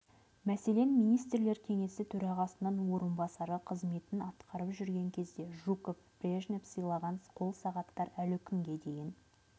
мәселен министрлер кеңесі төрағасының орынбасары қызметін атқарып жүрген кезде жуков брежнев сыйлаған қол сағаттар әлі күнге дейін